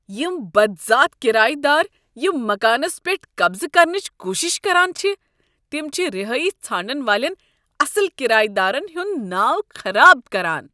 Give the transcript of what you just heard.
یِم بدذات کرایہ دار یم مکانس پیٹھ قبضہٕ کرنٕچ کوشش کران چھ تم چھ رِہٲیش ژھانڈن والین اصٕل کرایہ دارن ہُنٛد ناو خراب کران۔